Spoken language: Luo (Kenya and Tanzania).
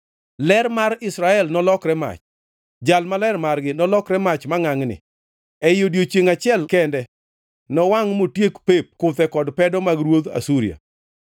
Ler mar Israel nolokre mach, Jal Maler margi nolokre mach mangʼangʼni; ei odiechiengʼ achiel kende nowangʼ motiek pep kuthe kod pedo mag ruodh Asuria.